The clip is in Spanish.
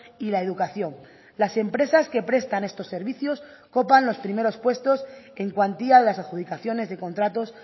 y la educación las empresas que prestan estos servicios copan los primeros puestos en cuantía a las adjudicaciones de contratos